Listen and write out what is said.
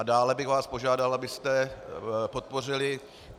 A dále bych vás požádal, abyste podpořili...